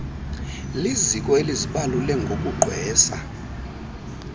liziko elizibalule ngokugqwesa